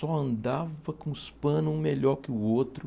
Só andava com os panos um melhor que o outro.